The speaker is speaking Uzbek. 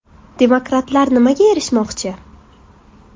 Demokratlar nimaga erishmoqchi?.